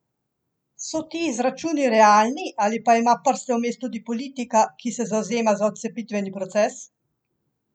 So ti izračuni realni ali pa ima prste vmes tudi politika, ki se zavzema za odcepitveni proces?